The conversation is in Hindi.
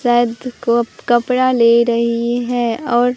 शायद क कपड़ा ले रही हैं और--